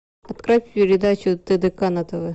открой передачу тдк на тв